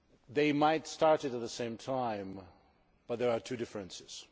They might have started at the same time, but there are two differences.